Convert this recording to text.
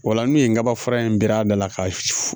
O la n'u ye kaba fura in bir'a da la ka